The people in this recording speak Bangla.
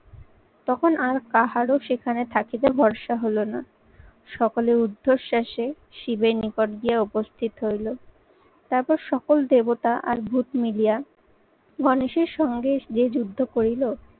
তখন আর কাহারও সেখানে থাকিবে ভরসা হলো না। সকলের উদ্ধশ্বাসে শিবের নিকট দিয়ে উপস্থিত হইলো। তারপর সকল দেবতা আর ভুত মিলিয়া গণেশের সঙ্গে যে যুদ্ধ করিল